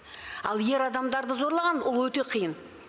ал ер адамдарды зорлаған ол өте қиын